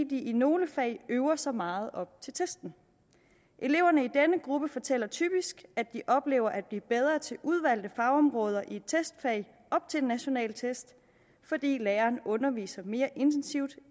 de i nogle fag øver sig meget op til testen eleverne i denne gruppe fortæller typisk at de oplever at blive bedre til udvalgte fagområder i et testfag op til en national test fordi læreren underviser mere intensivt